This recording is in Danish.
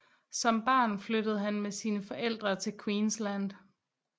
Som barn flyttede han med sine forældre til Queensland